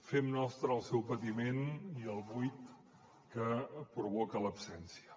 fem nostres el seu patiment i el buit que provoca l’absència